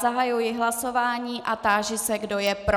Zahajuji hlasování a táži se, kdo je pro.